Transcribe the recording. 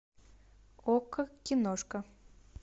окко киношка